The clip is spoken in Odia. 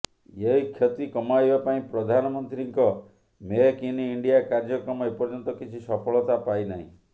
ଏହି କ୍ଷତି କମାଇବା ପାଇଁ ପ୍ରଧାନମନ୍ତ୍ରୀଙ୍କ ମେକ୍ ଇନ ଇଣ୍ଡିଆ କାର୍ଯ୍ୟକ୍ରମ ଏପର୍ଯ୍ୟନ୍ତ କିଛି ସଫଳତା ପାଇନାହିଁ